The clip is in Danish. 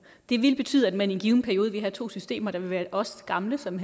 det vil betyde at man i en given periode vil have to systemer der vil være os gamle som